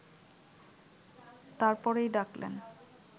তার পরেই ডাকলেন